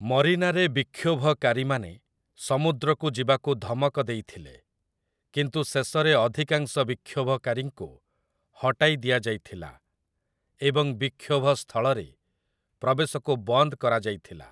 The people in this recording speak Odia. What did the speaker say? ମରିନାରେ ବିକ୍ଷୋଭକାରୀମାନେ ସମୁଦ୍ରକୁ ଯିବାକୁ ଧମକ ଦେଇଥିଲେ, କିନ୍ତୁ ଶେଷରେ ଅଧିକାଂଶ ବିକ୍ଷୋଭକାରୀଙ୍କୁ ହଟାଇ ଦିଆଯାଇଥିଲା ଏବଂ ବିକ୍ଷୋଭ ସ୍ଥଳରେ ପ୍ରବେଶକୁ ବନ୍ଦ କରାଯାଇଥିଲା ।